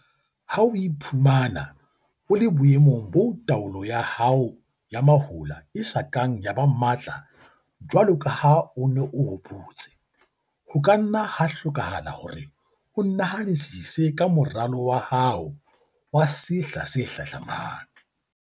Ha o iphumana o le boemong boo taolo ya hao ya mahola e sa kang ya ba matla jwalo ka ha o ne o hopotse, ho ka nna ha hlokahala hore o nahanisise ka moralo wa hao wa sehla se hlahlamang.